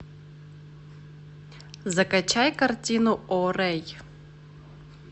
закачай картину о рэй